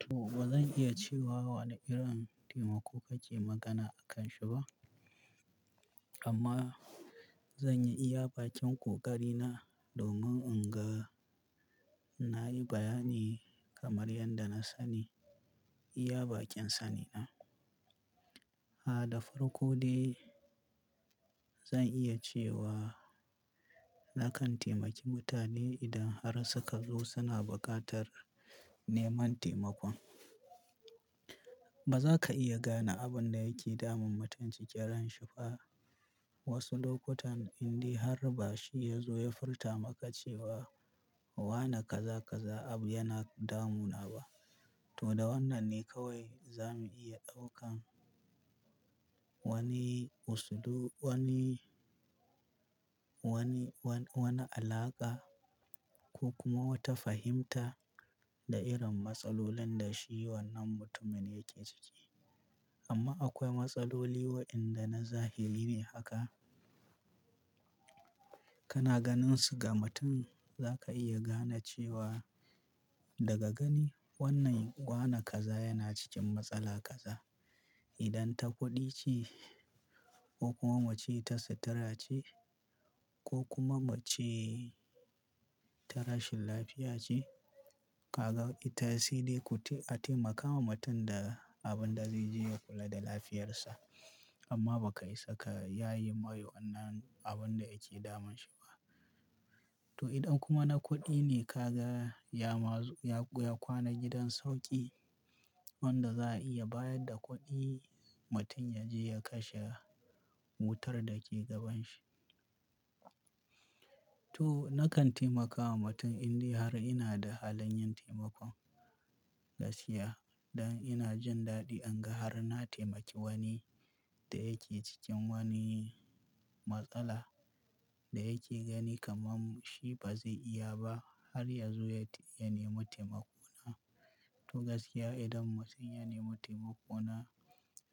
To ba zan iya cewa wane irin taimako kake magana akanshi ba. Amma zanyi iya bakin ƙoƙari na domin inga na yi bayani kamar yadda na sani iya bakin sani na. A da farko dai zan iya cewa nakan taimaki mutane idan har suka zo suna buƙatar neman taimakon. Ba za ka iya gane abin da yake damun mutum cikin ranshi ba. Wasu lokutan indai har ba shi ya zo ya furta maka cewa wane kaza-kaza abu yana damuna ba. To da wannan ne kawai za mu iya ɗaukan wani usulu, wani, wani, wan-wana alaƙa ko kuma wata fahimta da irin matsalolin da shi wannan mutumin yake ciki. Amma akwai matsaloli waɗanda na zahiri ne haka. Kana ganin su ga mutum za ka iya gane cewa daga gani wannan wane kaza yana cikin matsala kaza. Idan ta kuɗi ce ko kuma muce ta sutura ce ko kuma muce ta rashin lafiya ce, ka ga ita sai dai ku ti-- a taimaka wa mutum da abin da zai je ya kula da lafiyarsa. Amma ba ka isa ka yaye mai wannan abin da yake damun shi ba. To idan kuma na kuɗi ne ka ga ya ma zu-- ya kwana gidan sauƙi wanda za a iya bayar da kuɗi mutum ya je ya kashe wutar da ke gaban shi. To nakan taimaka wa mutum indai har ina da halin yin taimakon gaskiya. Dan ina jin daɗi in ga har na taimaki wani da yake cikin wani matsala da yake gani kaman shi ba zai iya ba har ya zo ya nemi taimako na. To gaskiya idan mutum ya nemi taimako na,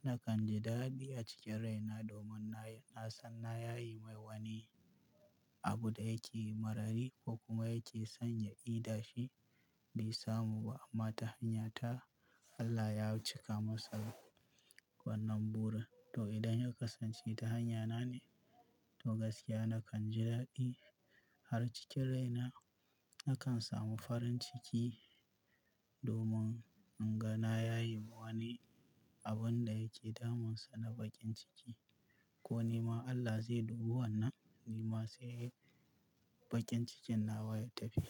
nakan ji daɗi a cikin rai na domin nayi, na san na yayi mai wani abu da yake marari ko kuma yake son ya ida shi bai samu ba amma ta hanyata Allah ya cika masa wannan burin. To idan ya kasance ta hanyana ne, to gaskiya nakan ji daɗi har cikin rai na nakan samu farin ciki domin in ga na yaye ma wani abin da yake damunsa na baƙin ciki. Ko nima Allah zai dubi wannan nima sai baƙin cikin nawa ya tafi.